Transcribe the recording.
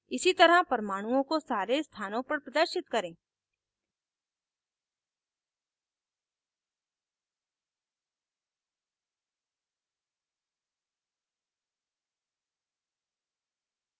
इसी तरह परमाणुओं को सारे स्थानों पर प्रदर्शित करें